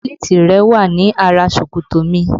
Bẹ́lítì rẹ wà ní ara ṣòkòtò mi